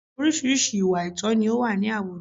Orísìírísìí ìwà àìtọ̀ ni ó wà ní àwùjọ